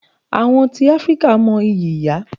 Àwọn tí Áfríkà mo ìyí ìyá.